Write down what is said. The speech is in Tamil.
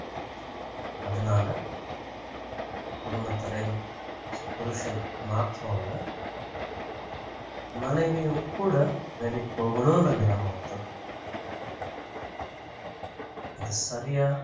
அதனால குடும்பத்தலைவன் புருஷன் மாத்திரம் அல்ல மனைவியும் கூட வேலைக்கு போகணுன்ற நிலைமை வருது இது சரியா